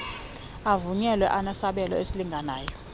avunyelwe abenesabelo esilinganayo